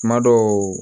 Kuma dɔw